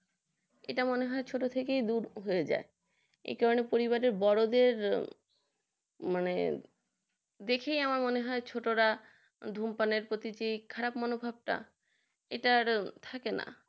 এটা মনে হয় ছোট থেকে দূর হয়ে যায় এটা পরিবারে বড়দের মানে দেখেই মনে হয় আমরা ছোটরা ধূমপানের খারাপ মনোভাবটা এটা থাকে না